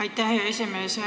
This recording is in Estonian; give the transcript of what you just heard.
Aitäh, hea esimees!